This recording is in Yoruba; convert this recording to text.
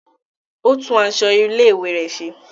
O tún aṣọ ilé-ìwé rẹ ṣe.